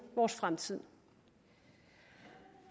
vores fremtid